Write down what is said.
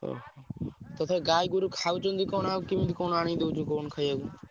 ଓ! ତଥାପି ଗାଈଗୋରୁ ଖାଉଛନ୍ତି କଣ ଆଉ କିମିତି କଣ ଆଣି ଦଉଛ କଣ ଖାଇଆକୁ?